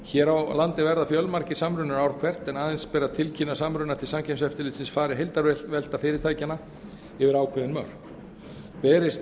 hér á landi verða fjölmargir samrunar ár hvert en aðeins ber að tilkynna samruna til samkeppniseftirlitsins fari heildarvelta fyrirtækjanna yfir ákveðin mörk berist